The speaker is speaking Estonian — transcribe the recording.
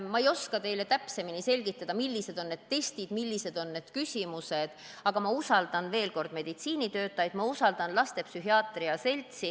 Ma ei oska teile täpsemini selgitada, millised on need testid ja millised on need küsimused, aga ütlen veel kord, et ma usaldan meditsiinitöötajaid, ma usaldan lastepsühhiaatria seltsi.